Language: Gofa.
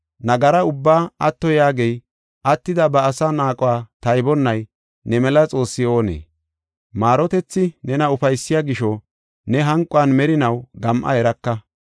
Nagara ubbaa atto yaagey, attida ba asaa naaquwa taybonnay ne mela Xoossi oonee? Maarotethi nena ufaysiya gisho ne hanquwan merinaw gam7a eraka.